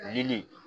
Lili